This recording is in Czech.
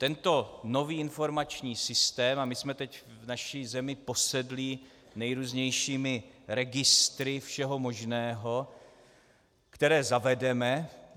Tento nový informační systém - a my jsme teď v naší zemi posedlí nejrůznějšími registry všeho možného, které zavedeme.